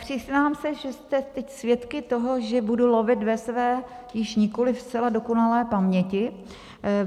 Přiznám se, že jste teď svědky toho, že budu lovit ve své již nikoliv zcela dokonalé paměti.